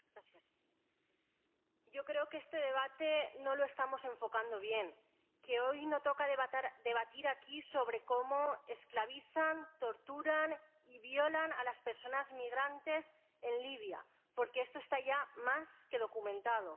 Señora presidenta, yo creo que este debate no lo estamos enfocando bien hoy no toca debatir aquí sobre cómo esclavizan, torturan y violan a las personas migrantes en Libia, porque esto está ya más que documentado.